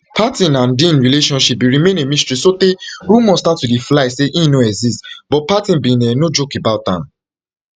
parton and dean relationship bin remain a mystery sotay rumours start to fly say im no exist but parton bin um joke about am